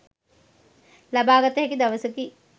ලබාගත හැකි දවසකි